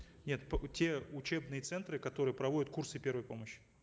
нет те учебные центры которые проводят курсы первой помощи